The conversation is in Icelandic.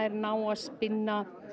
ná að spinna